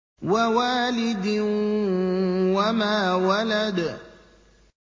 وَوَالِدٍ وَمَا وَلَدَ